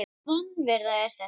Hvers konar vanvirða er þetta?